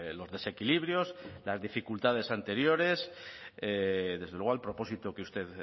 los desequilibrios las dificultades anteriores desde luego el propósito que usted